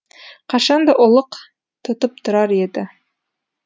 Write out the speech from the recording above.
қашан да ұлық тұтып тұрар еді